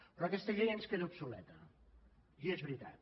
però aquesta llei ens queda obsoleta i és veritat